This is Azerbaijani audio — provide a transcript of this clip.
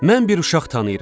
Mən bir uşaq tanıyıram.